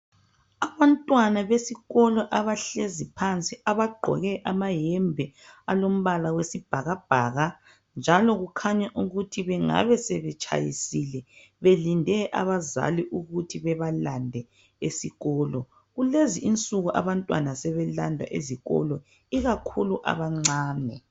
Abantwana besikolo abahlezi phansi abagqoke amayembe alompala oyisibhakabhaka njalo kukhanya ukuthi bengabe sebetshayisile belinde abazali ukuthi bebalande esikolo kulezi insuku abantwana sebelandwa esikolo ikakhulu abancane.